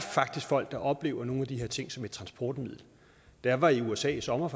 folk der oplever nogle af de her ting som et transportmiddel da jeg var i usa i sommer